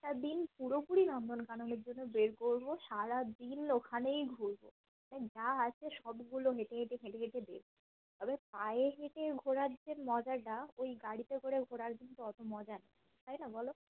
টা দিন পুরোপুরি নন্দনকাননের জন্য বের করব সারা দিন ওখানেই নিয়ে ঘুরবো যা আছে সবগুলো হেঁটেহেঁটে ঘেঁটেঘেটে দেখবো আর এ পায়ে হেঁটে ঘোরার যে মজাটা ওই গাড়িতে করে ঘোরার মতো অতো মজা নেই তাই না বলো